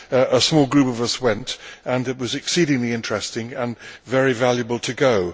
A small group of us went, and it was exceedingly interesting and very valuable to go.